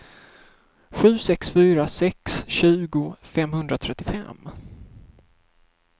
sju sex fyra sex tjugo femhundratrettiofem